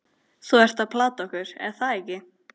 Þú ert að plata okkur, er það ekki?